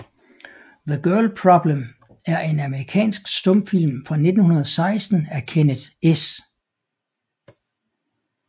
The Girl Problem er en amerikansk stumfilm fra 1916 af Kenneth S